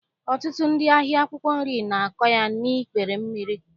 Ọtụtụ ndị ahịa akwụkwọ nri na-akọ ya n'ikpere mmiri